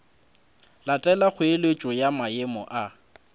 latela kgoeletšo ya maemo a